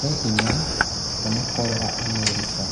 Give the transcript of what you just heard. He hinya kuona Kolera Amerika.